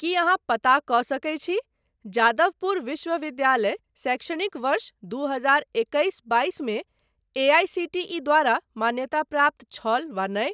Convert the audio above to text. की अहाँ पता कऽ सकैत छी जादवपुर विश्वविद्यालय शैक्षणिक वर्ष दू हजार एकैस बाइस मे एआईसीटीई द्वारा मान्यताप्राप्त छल वा नहि।